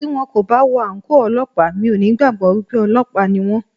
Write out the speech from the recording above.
Tí wón kò bá wọ àǹkóò Ọlọ́pàá, mi ò ní gbàgbọ́ wípé Ọlọ́pàá ni wón.